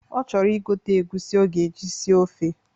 Ọ chọrọ igote egwusi ọ ga-eji sie ofe.